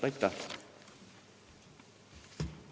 Aitäh!